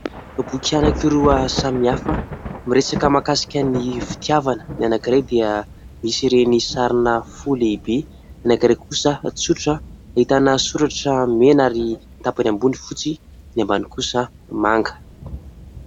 Boky anankiroa samy hafa miresaka mahakasika ny fitiavana. Ny anankiray dia misy ireny sarina fo lehibe, ny anankiray kosa tsotra, ahitana soratra mena ary tapany ambony fotsy, ny ambany kosa manga.